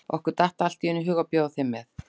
Okkur datt allt í einu í hug að bjóða þér með.